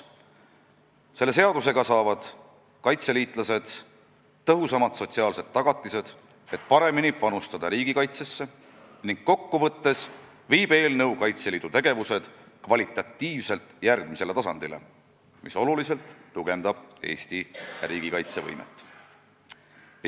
Selle seadusega saavad kaitseliitlased tõhusamad sotsiaalsed tagatised, et paremini panustada riigikaitsesse, ning kokku võttes viib eelnõu Kaitseliidu tegevused kvalitatiivselt järgmisele tasandile, mis tugevdab tuntavalt Eesti riigi kaitsevõimet.